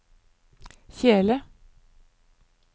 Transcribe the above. kjele